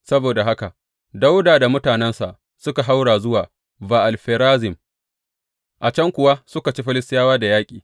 Saboda haka Dawuda da mutanensa suka haura zuwa Ba’al Ferazim, a can kuwa suka ci Filistiyawa da yaƙi.